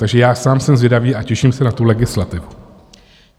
Takže já sám jsem zvědavý a těším se na tu legislativu.